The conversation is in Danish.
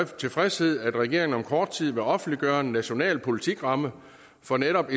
tilfredshed at regeringen om kort tid vil offentliggøre en national politikramme for netop